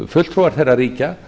fulltrúar þeirra ríkja